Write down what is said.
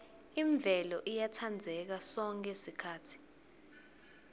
imvelo iyatsandzeka sonkhe sikhatsi